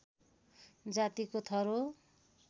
जातिको थर हो